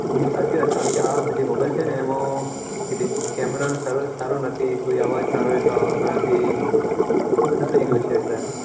બીજા કે આ આ mobile છે તેમાં કેમેરો સારો નથીઆવાજ સારો આવતો નથી એબઘુ છે